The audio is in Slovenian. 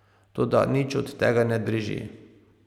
Toda nič od tega ne drži.